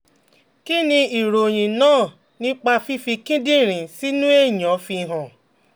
Kí ni ìròyìn náà nípa fífi kíndìnrín sínú èèyàn fihan?